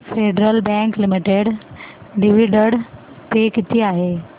federal Bank Limited dividend पे किती आहे